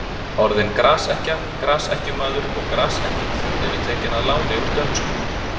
Orðin grasekkja, grasekkjumaður og grasekkill eru tekin að láni úr dönsku.